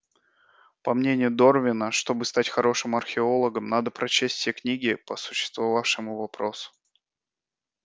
по мнению дорвина чтобы стать хорошим археологом надо прочесть все книги по существующему вопросу